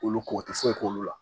Olu kɔ u tɛ foyi k'olu la